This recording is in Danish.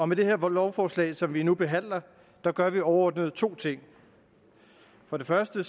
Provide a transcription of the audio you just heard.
med det her lovforslag som vi nu behandler gør vi overordnet to ting for det første